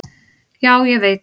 """Já, ég veit"""